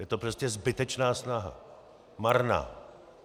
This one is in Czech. Je to prostě zbytečná snaha, marná.